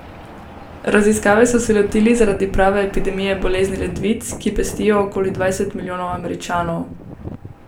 Raziskave so se lotili zaradi prave epidemije bolezni ledvic, ki pestijo okoli dvajset milijonov Američanov.